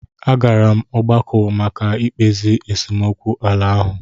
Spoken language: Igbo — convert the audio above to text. A gara m ọgbakọ maka mkpezi esemokwu ala ahụ.